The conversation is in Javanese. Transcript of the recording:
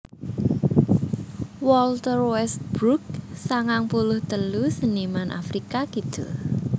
Walter Westbrook sangang puluh telu seniman Afrika Kidul